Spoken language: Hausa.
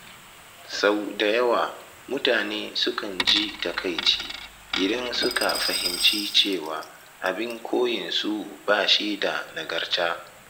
Sau da yawa mutane sukan ji takaici idan suka fahimci cewa abin koyinsu ba shi da nagarta.